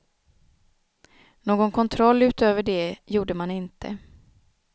Någon kontroll utöver det gjorde man inte.